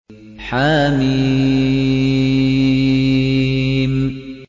حم